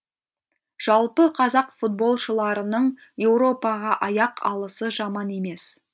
жалпы қазақ футболшыларының еуропаға аяқ алысы жаман емес